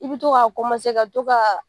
I bɛ to ka ka to ka